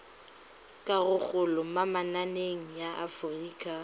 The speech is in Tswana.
karolo mo mananeng a aforika